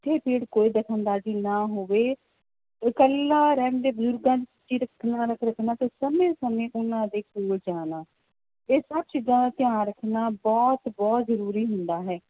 ਕੋਈ ਦਖ਼ਲ ਅੰਦਾਜ਼ੀ ਨਾ ਹੋਵੇੇ ਤੇ ਸਮੇਂ ਸਮੇਂ ਉਹਨਾਂ ਦੇ ਕੋਲ ਜਾਣਾ, ਇਹ ਸਭ ਚੀਜ਼ਾਂ ਦਾ ਧਿਆਨ ਰੱਖਣਾ ਬਹੁਤ ਬਹੁਤ ਜ਼ਰੂਰੀ ਹੁੰਦਾ ਹੈ